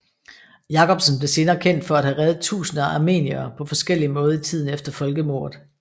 Jacobsen blev senere kendt for at have reddet tusinder af armeniere på forskellig måde i tiden efter folkemordet